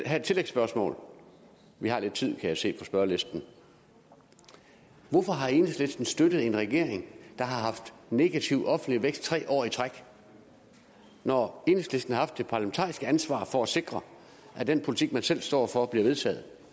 have et tillægsspørgsmål for vi har lidt tid kan jeg se på spørgerlisten hvorfor har enhedslisten støttet en regering der har haft negativ offentlig vækst tre år i træk når enhedslisten har haft det parlamentariske ansvar for at sikre at den politik man selv står for bliver vedtaget